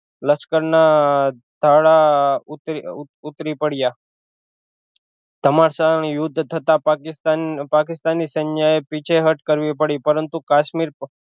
લશ્કર ના તાળાં ઉતર ઉતરી પડ્યા ધમશાન યુદ્ધ થતાં પાકિસ્તાન પાકિસ્તાની સેન્યે પીછી હટ કરવી પડી પરંતુ કાશ્મીર